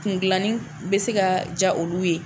Kun dilanni bɛ se ka ja olu ye